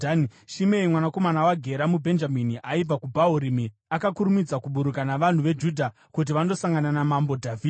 Shimei mwanakomana waGera, muBhenjamini aibva kuBhahurimi, akakurumidza kuburuka navanhu veJudha kuti vandosangana naMambo Dhavhidhi.